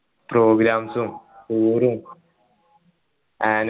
programs ഉം tour ഉം an